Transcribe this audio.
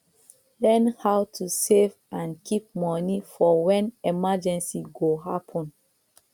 learn how to save and keep money for when emergency go happen